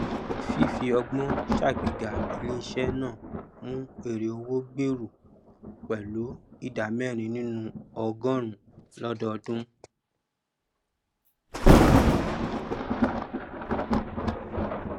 fífí ọgbọn sàgbéga iléisẹ náà mú èrèowó gbèrú pẹlú ìdá mẹrin nínú ọgọrùnún lọdọọdún